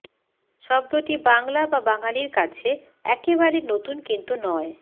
শব্দটি বাংলা বা বাঙালির কাছে একেবারে নতুন কিন্তু নয়